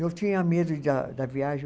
Eu tinha medo de a da viagem.